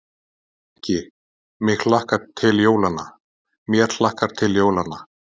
Ekki: mig hlakkar til jólanna, mér hlakkar til jólanna.